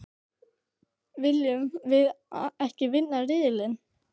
Viljum við ekki vinna riðilinn?